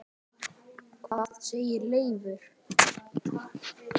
Hvað segir Leifur?